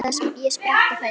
Ég spratt á fætur.